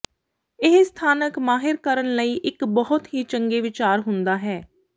ਇਹ ਸਥਾਨਕ ਮਾਹਿਰ ਕਰਨ ਲਈ ਇੱਕ ਬਹੁਤ ਹੀ ਚੰਗੇ ਵਿਚਾਰ ਹੁੰਦਾ ਹੈ